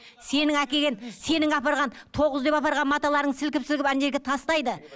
сенің әкелген сенің апарған тоғыз деп апарған маталарың сілкіп сілкіп ана жерге тастайды